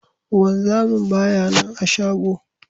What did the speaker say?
Wanzamin ba ya nana a shago.